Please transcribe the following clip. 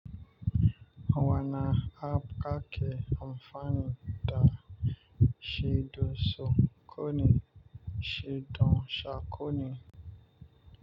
Wana hab kake amfani da shido soƙoni shidan sako ne.